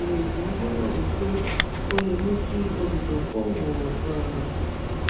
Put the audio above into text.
ìrèdí lo ro wí pé o le mú kí olùdókówó um